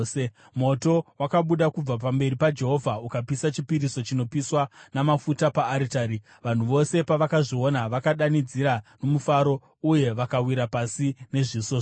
Moto wakabuda kubva pamberi paJehovha ukapisa chipiriso chinopiswa namafuta paaritari. Vanhu vose pavakazviona vakadanidzira nomufaro uye vakawira pasi nezviso zvavo.